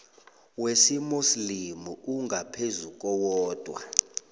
wesimuslimu ongaphezu kowodwa